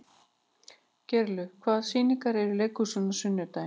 Geirlaug, hvaða sýningar eru í leikhúsinu á sunnudaginn?